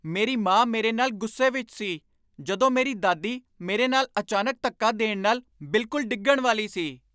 ਮੇਰੀ ਮਾਂ ਮੇਰੇ ਨਾਲ ਗੁੱਸੇ ਵਿੱਚ ਸੀ ਜਦੋਂ ਮੇਰੀ ਦਾਦੀ ਮੇਰੇ ਨਾਲ ਅਚਾਨਕ ਧੱਕਾ ਦੇਣ ਨਾਲ ਬਿਲਕੁਲ ਡਿੱਗਣ ਵਾਲੀ ਸੀ।